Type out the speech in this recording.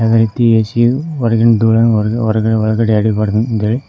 ಐತಿ ಎ_ಸಿ ಯು ಹೊರಗಿನ್ ಧೂಳ ಹೊರಗಡೆ ಒಳಗಡೆ ಎಳಿಬಾರ್ದು ಅಂತ್ ಹೇಳಿ--